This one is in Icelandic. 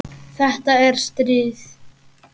Þetta er stríð!